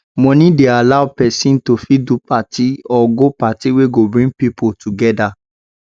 money de allow persin to fit do party or go party wey go bring pipo together